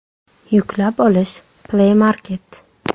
Yuklab olish: Play Market !